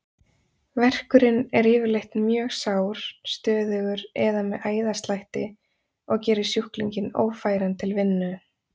Verkurinn er yfirleitt mjög sár, stöðugur eða með æðaslætti, og gerir sjúklinginn ófæran til vinnu.